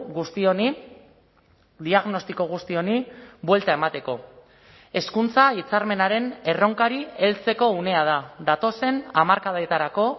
guzti honi diagnostiko guzti honi buelta emateko hezkuntza hitzarmenaren erronkari heltzeko unea da datozen hamarkadetarako